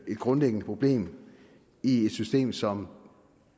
et grundlæggende problem i et system som